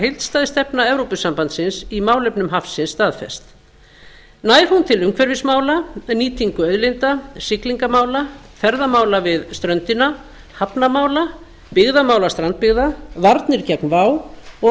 heildstæð stefna evrópusambandsins í málefnum hafsins staðfest nær hún til umhverfismála nýtingu auðlinda siglingamála ferðamála við ströndina hafnamála byggðamála strandbyggða varnir gegn vá og